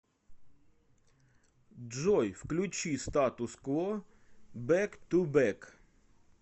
джой включи статус кво бэк ту бэк